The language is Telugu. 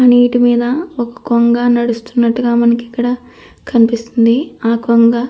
నీటిమీద ఒక కొంగ నడుస్త్తున్నట్టుగా మనకు ఇక్కడ కనిపిస్తుంది. ఆ కొంగ --